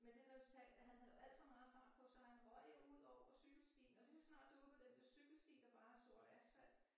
Med det resultat at han havde jo alt for meget fart på så han røg jo udover cykelstien og lige så snart du ude på den der cykelsti der bare er sort asfalt